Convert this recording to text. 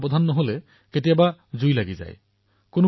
কিন্তু কেতিয়াবা অসাৱধানৱশতঃ অগ্নিকাণ্ড সংঘটিত হয়